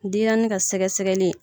Denyɛrɛnin ka sɛgɛsɛgɛli